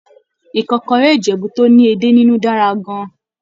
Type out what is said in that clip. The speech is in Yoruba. Ìkọ́kọrẹ́ Ìjẹ̀bú tó ní edé nínú dára gan-an